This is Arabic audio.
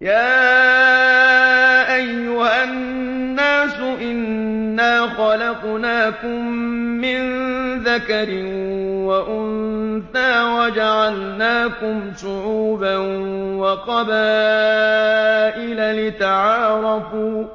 يَا أَيُّهَا النَّاسُ إِنَّا خَلَقْنَاكُم مِّن ذَكَرٍ وَأُنثَىٰ وَجَعَلْنَاكُمْ شُعُوبًا وَقَبَائِلَ لِتَعَارَفُوا ۚ